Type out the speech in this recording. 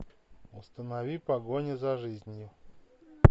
установи погоня за жизнью